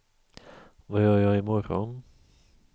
vad gör jag imorgon